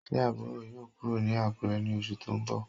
Se aburo yoo kuro ni Akure ni osu to nbo?